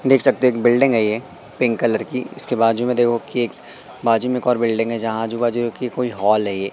देख सकते है एक बिल्डिंग है ये पिंक कलर की इसके बाजू में देखो कि एक बाजू में एक और बिल्डिंग है जहां आजू बाजू की कोई हॉल है ये।